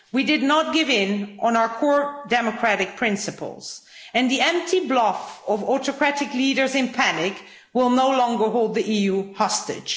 We did not give in on our core democratic principles, and the empty bluff of autocratic leaders in panic will no longer hold the EU hostage.